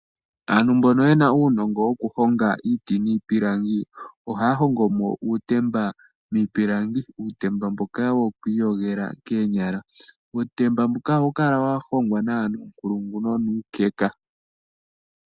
Aantu mboka ye na uunongo wokuhonga iiti niipilangi ohaya hongo mo uutemba. Uutemba mboka woku iyogela koonyala. Uutemba mboka ohawu kala wa hongwa nawa nuunkulungu nonuukeka.